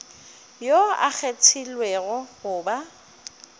yo a kgethilwego go ba